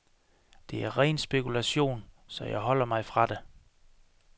Det er ren spekulation, så jeg holder mig fra det.